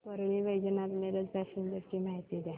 Parli Vaijnath Miraj passenger ची माहिती द्या